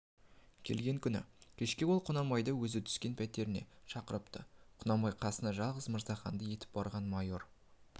келген күні кешке ол құнанбайды өзі түскен пәтеріне шақырыпты құнанбай қасына жалғыз мырзаханды ертіп барған майыр